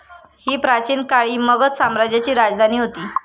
ही प्राचीन काळी मगध साम्राज्याची राजधानी होती.